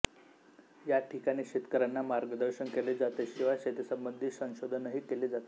या ठिकाणी शेतकऱ्यांना मार्गदर्शन केले जाते शिवाय शेतीसंबंधी संशोधनही केले जाते